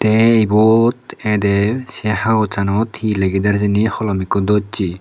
tey ebot edey sey hagossanot hi ligider hijeni holom ikko dossey.